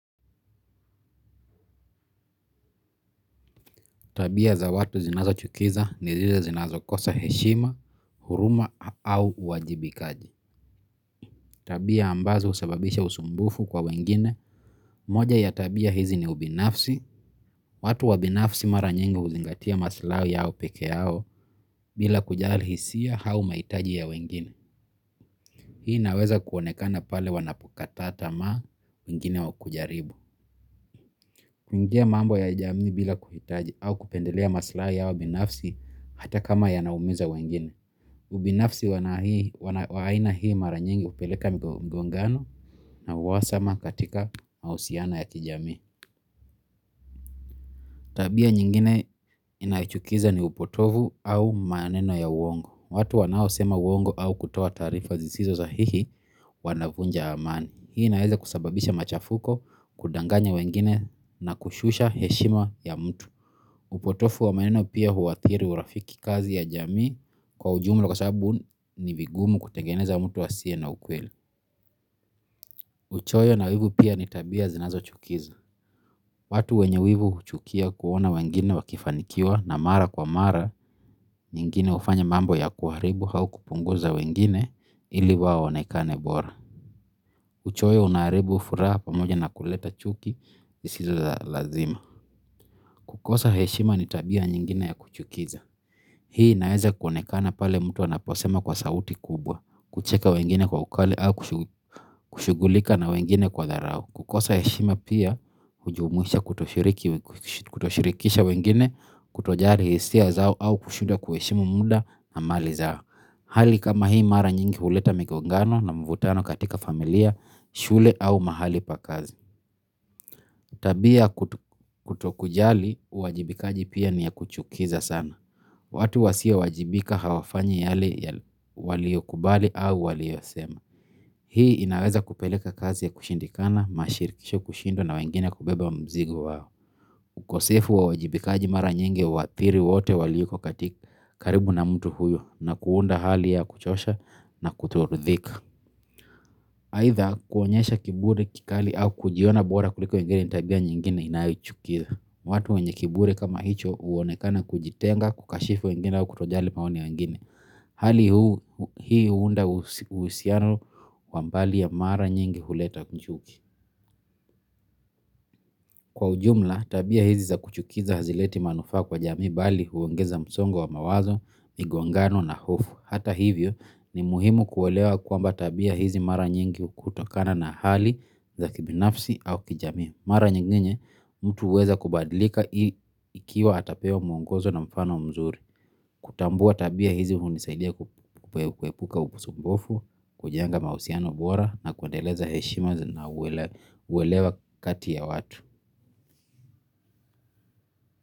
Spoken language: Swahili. Tabia za watu zinazo chukiza ni zile zinazo kosa heshima, huruma au uwajibikaji. Tabia ambazo usababisha usumbufu kwa wengine. Moja ya tabia hizi ni ubinafsi. Watu wabinafsi mara nyingi huzingatia maslai yao pekee yao bila kujali hisia au mahitaji ya wengine. Hii naweza kuonekana pale wanapokata tamaa ingine wakujaribu. Kuingia mambo ya jami bila kuhitaji au kupendilea maslai yao binafsi hata kama ya naumiza wengine. Ubinafsi waina hii maranyingi upeleka mgongano na uwasama katika mausiano ya kijamii. Tabia nyingine inachukiza ni upotovu au maneno ya uongo. Watu wanao sema uongo au kutoa tarifa zisizo sahihi wanavunja amani. Hii inaeza kusababisha machafuko kudanganya wengine na kushusha heshima ya mtu. Upotofu wa maneno pia huathiri urafiki kazi ya jami. Kwa ujumu lakwasabu ni vigumu kutengeneza mtu asiye na ukweli. Uchoyo na wivu pia nitabia zinazo chukiza watu wenye wivu huchukia kuona wengine wakifanikiwa na mara kwa mara. Nyingine ufanya mambo ya kuharibu au kupunguza wengine ili waonekane bora. Uchoyo unaaribu furaha pa moja na kuleta chuki isizo za lazima. Kukosa heshima nitabia nyingine ya kuchukiza. Hii inaeza kuonekana pale mtu anaposema kwa sauti kubwa. Kucheka wengine kwa ukali au kushugulika na wengine kwa dharau. Kukosa heshima pia hujumuisha kutoshirikisha wengine kutojari hisia zao au kushuda kuheshimu muda na mali zao. Hali kama hii mara nyingi uleta mingongano na mvutano katika familia, shule au mahali pakazi. Tabia kutokujali, uwajibikaji pia niya kuchukiza sana. Watu wasio wajibika hawafanya yale waliokubali au waliosema. Hii inaweza kupeleka kazi ya kushindikana, mashirikisho kushindwa na wengine kubeba mzigo wao. Ukosefu wa uwajibikaji mara nyingi uathiri wote waliko katika karibu na mtu huyo na kuunda hali ya kuchosha na kutoridhika. Haitha kuonyesha kiburi kikali au kujiona bora kuliko wengine ni tabia nyingine inayochukiza. Watu wenye kiburi kama hicho uonekana kujitenga kukashifu wengine au kutojali maoni ya wengine. Hali hii huunda usiano kwa mbali ya mara nyingi huleta chuki. Kwa ujumla tabia hizi za kuchukiza hazileti manufaa kwa jamii bali huongeza msongo wa mawazo migongano na hofu Hata hivyo, ni muhimu kuwelewa kwamba tabia hizi mara nyingi utokana na hali za kibinafsi au kijami. Mara nyingine, mtu huweza kubadlika hii ikiwa atapewa mwongozo na mfano mzuri. Kutambua tabia hizi huu nisaidia kuepuka ukusumbofu, kujenga mausiano bora na kuendeleza heshima na uwelewa kati ya watu.